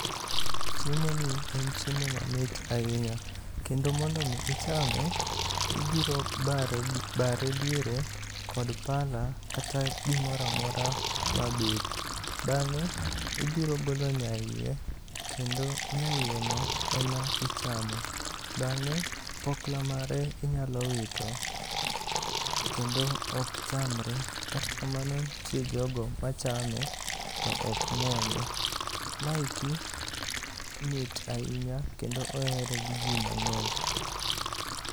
Chiemoni en chiemo mamit ahinya, kendo mondo omi ichame, ibiro bare diere kod pala kata gimoro amora mabith. Bang'e, ibiro golo nyaiye. Kendo nyaiyeno ema ichamo. Bang'e, pokla mare inyalo wito kendo ok chamre. Kata kamano, nitie jogo machame to ok muonye. Ma eki mit ahinya kendo ohere gi ji mang'eny.